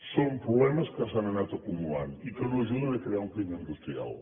són problemes que s’han anat acumulant i que no ajuden a crear un clima industrial